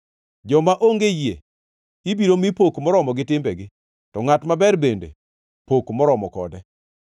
Joma onge yie ibiro mi pok moromo gi timbegi, to ngʼat maber bende pok moromo kode.